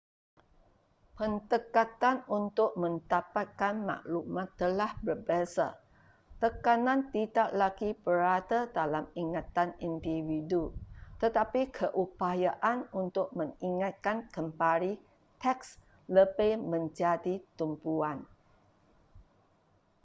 pendekatan untuk mendapatkan maklumat telah berbeza tekanan tidak lagi berada dalam ingatan individu tetapi keupayaan untuk mengingatkan kembali teks lebih menjadi tumpuan